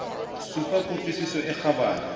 supa ku tlwisiso e kgabane